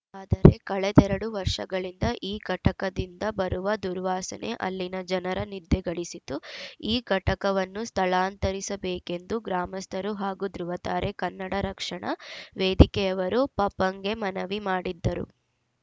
ಆದರೆ ಕಳೆದೆರಡು ವರ್ಷಗಳಿಂದ ಈ ಘಟಕದಿಂದ ಬರುವ ದುರ್ವಾಸನೆ ಅಲ್ಲಿನ ಜನರ ನಿದ್ದೆಗೆಡಿಸಿದ್ದು ಈ ಘಟಕವನ್ನು ಸ್ಥಳಾಂತರಿಸಬೇಕೆಂದು ಗ್ರಾಮಸ್ಥರು ಹಾಗೂ ಧೃವತಾರೆ ಕನ್ನಡ ರಕ್ಷಣಾ ವೇದಿಕೆಯವರು ಪಪಂಗೆ ಮನವಿ ಮಾಡಿದ್ದರು